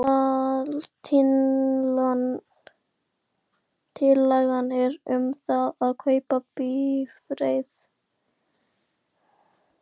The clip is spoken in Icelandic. Aðaltillaga er um það að kaupa bifreið.